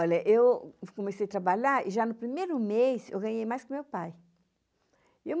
Olha, eu comecei a trabalhar e já no primeiro mês eu ganhei mais que o meu pai.